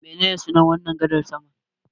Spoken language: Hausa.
Menene sunan wannan gadar saman?